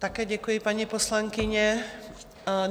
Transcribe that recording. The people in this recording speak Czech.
Také děkuji, paní poslankyně.